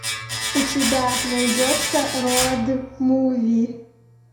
у тебя найдется роуд муви